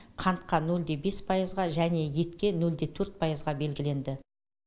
қантқа нөл де бес пайызға және етке нөл де төрт пайызға белгіленді